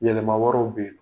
Yɛlɛma wɛrɛw bɛ yen.